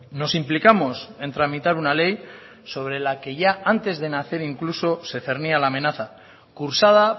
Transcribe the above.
nos implicamos en tramitar una ley sobre la que ya antes de nacer incluso se cernía la amenaza cursada